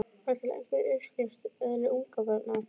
Var til einhver uppskrift að eðli ungabarna?